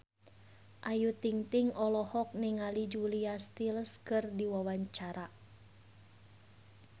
Ayu Ting-ting olohok ningali Julia Stiles keur diwawancara